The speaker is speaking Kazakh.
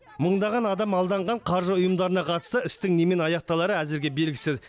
мыңдаған адам алданған қаржы ұйымдарына қатысты істің немен аяқталары әзірге белгісіз